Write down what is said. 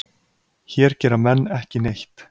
Hér gera menn ekki neitt.